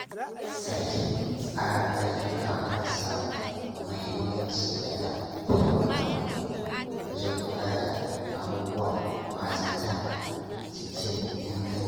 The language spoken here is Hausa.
Sake tsara ayyuka marasa mahimmanci yana taimaka mun wajen kula da abubuwan ba-zata cikin inganci.